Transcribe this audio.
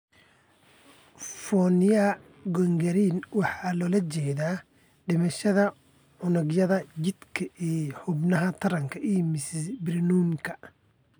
Fournier gangrene waxa loola jeedaa dhimashada unugyada jidhka ee xubnaha taranka iyo mise perineumka.